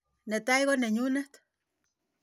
Ne tai ko nenyunet.